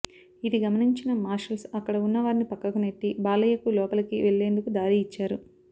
ఇది గమనించిన మార్షల్స్ అక్కడ ఉన్న వారిని పక్కకు నెట్టి బాలయ్యకు లోపలికి వెళ్ళేందుకు దారి ఇచ్చారు